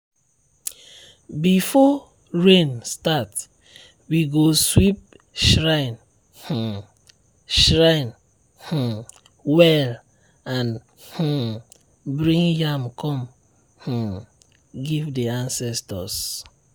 before rain start we go sweep shrine um shrine um well and um bring yam come um give the ancestors.